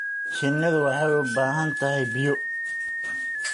Shinnidu waxay u baahan tahay biyo.